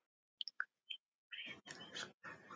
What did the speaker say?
Hvíl í friði, elsku mamma.